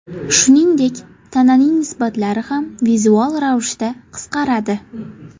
Shuningdek, tananing nisbatlari ham vizual ravishda qisqaradi.